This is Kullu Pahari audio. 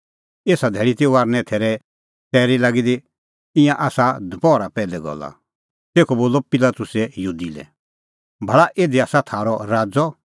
एसा धैल़ी ती फसहे थैरे तैरी लागी दी ईंयां आसा दपहरा पैहलै गल्ला तेखअ बोलअ पिलातुसै यहूदी लै भाल़ा इधी आसा थारअ राज़अ